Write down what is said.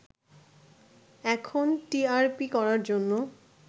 এখন টিআরপি করার জন্যে